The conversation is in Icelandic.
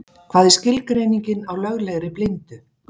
Hvað er skilgreiningin á löglegri blindu?